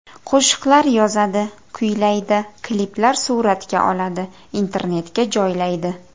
Qo‘shiqlar yozadi, kuylaydi, kliplar suratga oladi, internetga joylaydi.